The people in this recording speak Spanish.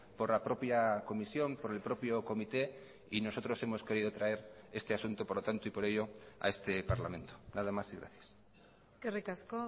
por la propia comisión por el propio comité y nosotros hemos querido traer este asunto por lo tanto y por ello a este parlamento nada más y gracias eskerrik asko